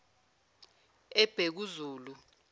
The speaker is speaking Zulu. ebhekuzulu